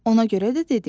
Ona görə də dedi: